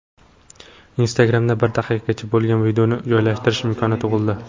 Instagram’da bir daqiqagacha bo‘lgan videoni joylashtirish imkoni tug‘ildi.